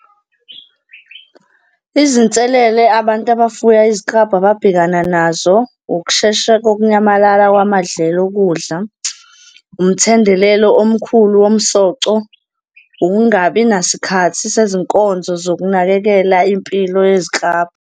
Izinselele abantu abafuya iziklabhu ababhekana nazo, ukushesha kokunyamalala kwamadlelo okudla, umthendelelo omkhulu womsoco, ukungabi nasikhathi sezinkonzo zokunakekela impilo yeziklabhu.